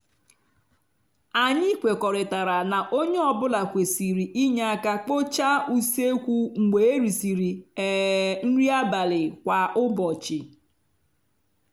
anyị kwekọrịtara na onye ọ bụla kwerisịr inye aka kpochaa usekwu mgbe erisịrị um nri abalị kwa abalị